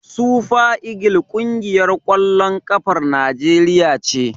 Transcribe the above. Sufa igil ƙungiyar ƙwallon ƙafar Naijeriya ce.